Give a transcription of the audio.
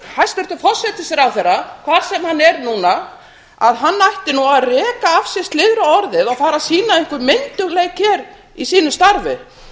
hæstvirtur forsætisráðherra hvar sem hann er núna að hann ætti nú að reka af sér slyðruorðið og fara að sýna einhvern myndugleik hér í sínu starfi